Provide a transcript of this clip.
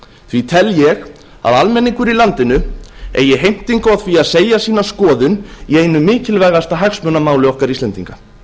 því tel ég að almenningur í landinu eigi heimtingu á því að segja sína skoðun í einu mikilvægasta hagsmunamáli okkar íslendinga